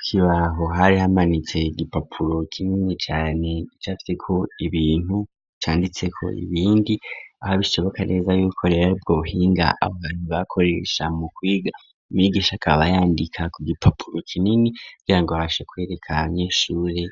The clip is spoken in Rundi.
Ikibaho hari hamanitse igipapuro kinini cane cafite ko ibintu canditse ko ibindi aha bishoboka neza y'ibikorera bw'obuhinga abantu bakoresha mu kwiga umigisha akaba yandika ku gipapuro kinini kugirango babashe kwereka abanyeshure